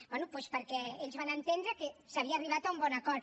bé doncs perquè ells que van entendre que s’havia arribat a un bon acord